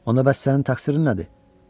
Onda bəs sənin təqsirin nədir?